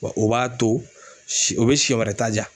Wa o b'a to si o bɛ siyɛn wɛrɛ ta jaa.